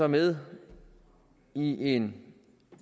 med i en